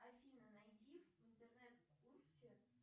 афина найди в интернет курсе